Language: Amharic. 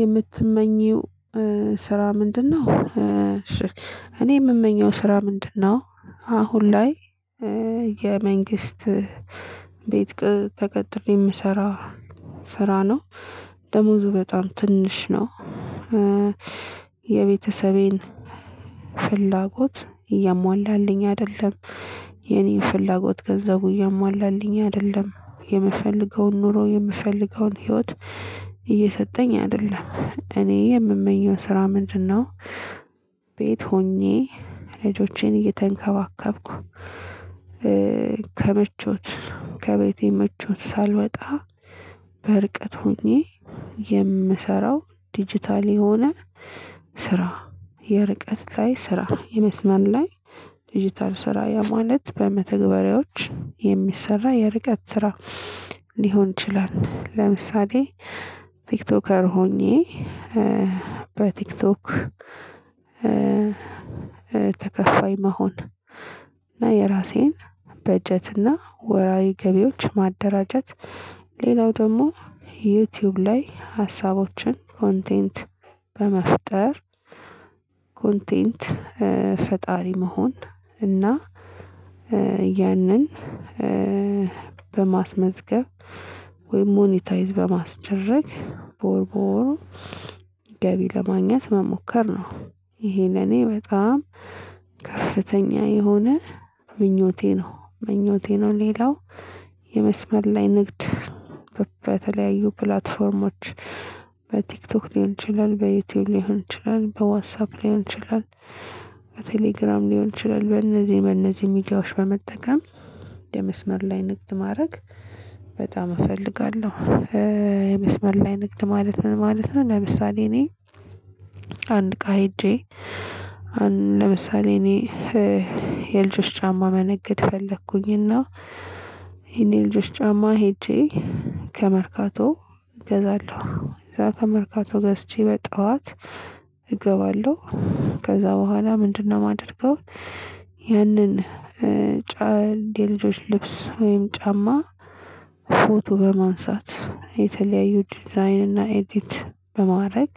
የምትመኚው ስራ ምንድነው? እሺ እኔ የምመኘው ስራ ምንድነው? አሁን ላይ የመንግስት ቤት ተቀጥሬ የምሰራ ስራ ነው ደሞዙ በጣም ትንሽ ነው። የቤተሰቤን ፍላጎት እያሟላልኝ አይደለም። የኔን ፍላጎት ገንዘቡ እያሟላልኝ አይደለም የምፈልገውን ኑሮ የምፈልገውን ህይወት እየሰጠኝ አይደለም። እኔ የምመኘው ስራ ምንድነው? ቤት ሆኜ ልጆቼን እየተንከባከብኩ ከምቾት ከቤቴ ምቾት ሳልወጣ በርቀት ሆኜ የምሰራው ዲጂታል የሆነ ስራ የርቀት ላይ ስራ የመስመር ላይ ዲጂታል ስራ ያ ማለት በመተግበሪያዎች የሚሰራ የርቀት ስራ። ሊሆን ይችላል ለምሳሌ ቲክቶከር ሆኜ በቲክቶክ ተከፋይ መሆን። እና የራሴን በጀት እና ወራዊ ገቢዎች ማደራጀት ሌላው ደግሞ ዩቲዩብ ላይ ሀሳቦችን ኮንቴንት በመፍጠር ኮንቴንት ፈጣሪ መሆን እና ያንን በማስመዝገብ ወይም ሞኒታይዝ በማስደረግ በወር በወር ገቢ ለማግኘት መሞከር ነው። ይሄ ለኔ በጣም ከፍተኛ የሆነ ምኞቴ ነው ምኞቴ ነው። ሌላው የመስመር ላይ ንግድ በተለያዩ ፕላትፎርሞች በቲክቶክ ሊሆን ይችላል በዩቲዩብ ሊሆን ይችላል በዋትስአፕ ሊሆን ይችላል በቴሌግራም ሊሆን ይችላል በእነዚህ በእነዚህ ሚዲያዎች በመጠቀም የመስመር ላይ ንግድ ማድረግ በጣም እፈልጋለሁ። የመስመር ላይ ንግድ ማለት ምን ማለት ነው? ለምሳሌ እኔ አንድ እቃ ሄጄ አንድ ለምሳሌ እኔ የልጆች ጫማ መነገድ ፈለኩኝና ይሄን የልጆች ጫማ ሄጄ ከመርካቶ እገዛለሁ ከዛ ከመርካቶ ገዝቼ በጠዋት እገባለሁ። ከዛ በኋላ ምንድነው የማደርገው? ያንን የልጆች ልብስ ወይም ጫማ ፎቶ በማንሳት የተለያዩ ዲዛይንና ኤዲት በማድረግ